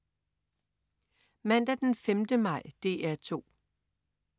Mandag den 5. maj - DR 2: